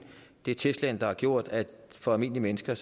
det er teslaen der har gjort at det for almindelige mennesker